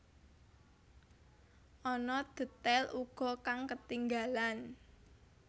Ana detail uga kang ketinggalan